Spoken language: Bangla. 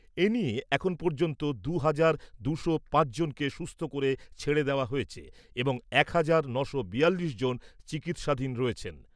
এনিয়ে এখন পর্য্যন্ত দু হাজার দুশ পাঁচজনকে সুস্থ করে ছেড়ে দেওয়া হয়েছে এবং এক হাজার নশ বিয়াল্লিশ জন চিকিৎসাধীন রয়েছেন ।